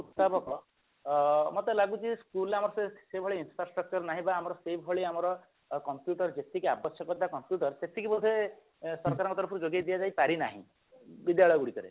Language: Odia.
ଅ ମତେ ଲାଗୁଛି school ରେ ଆମର ସେଇଭଳି Infrastructure ନାହିଁ ବା ଆମର ସେଇ ଭଳି ଆମର computer ଯେତିକି ଆବଶ୍ୟକତା computer ସେତିକି ବୋଧେ ସରକାରଙ୍କ ତରଫରୁ ଯୋଗେଇ ଦିଆଯାଇ ପାରିନାହିଁ ବିଦ୍ୟାଳୟ ଗୁଡିକରେ